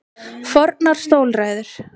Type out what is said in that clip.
Fornar stólræður.